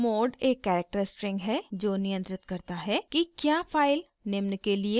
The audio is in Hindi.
mode एक कैरेक्टर स्ट्रिंग है जो नियंत्रित करता है कि क्या फाइल निम्न के लिए खोली गयी है: